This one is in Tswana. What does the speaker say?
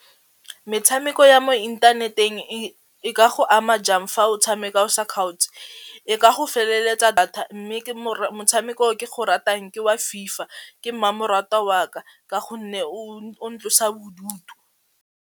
Metshameko ya mo inthaneteng e ka go ama jang fa o tshameka o sa kgaotse, e ka go feleletsa data mme motshameko o ke go ratang ke wa FIFA ke mmamoratwa wa ka ka gonne o ntlosa bodutu.